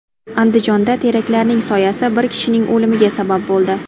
Andijonda teraklarning soyasi bir kishining o‘limiga sabab bo‘ldi.